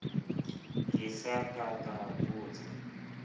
ke sa ka ka botsa